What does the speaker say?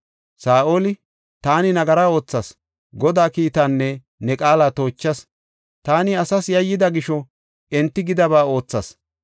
Saa7oli, “Taani nagara oothas; Godaa kiitaanne ne qaala toochas. Taani asaas yayyida gisho enti gidaba oothas.